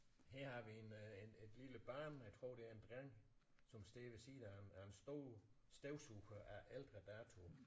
Her har vi en øh en et lille barn jeg tror det er en dreng som står ved siden af en af en stor støvsuger af ældre dato